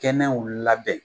Kɛnɛw labɛn.